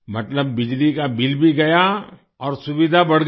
मतलब बिजली का बिल भी गया और सुविधा बढ़ गई